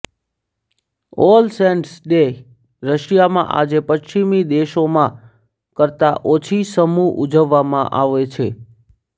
all saints day રશિયામાં આજે પશ્ચિમી દેશોમાં કરતાં ઓછી સમૂહ ઉજવવામાં આવે છે